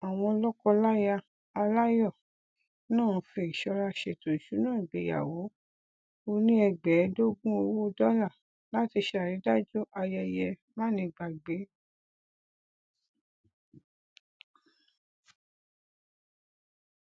àwọn lọkọláya aláyọ náà fi ìsọra ṣètò ìṣúná ìgbéyawó oní ẹgbàáẹẹdógún owó dọlà láti ṣàrídájú ayẹyẹ mánigbàgbé